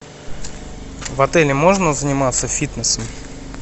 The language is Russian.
в отеле можно заниматься фитнесом